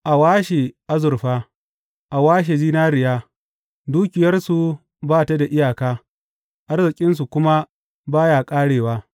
A washe azurfa; a washe zinariya; dukiyarsu ba ta da iyaka, arzikinsu kuma ba ya ƙarewa.